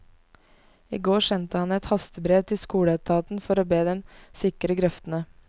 I går sendte han et hastebrev til skoleetaten for å be dem sikre grøftene.